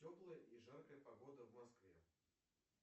теплая и жаркая погода в москве